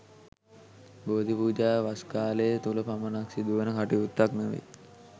බෝධි පූජාව වස් කාලය තුළ පමණක් සිදුවන කටයුත්තක් නොවේ.